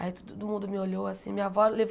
Aí todo mundo me olhou assim. Minha avó